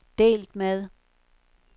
delt med